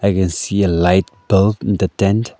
we can see a light built in the tent.